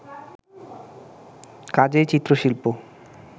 কাজেই চিত্রশিল্প